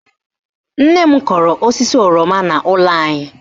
Nne m kọrọ osisi oroma n'ụlọ anyị